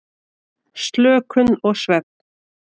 Slökun og svefn.